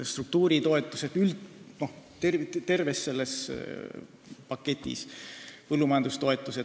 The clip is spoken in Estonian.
Struktuuritoetused vähenevad terves paketis.